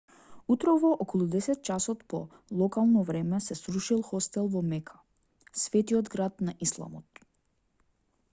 утрово околу 10 часот по локално време се срушил хостел во мека светиот град на исламот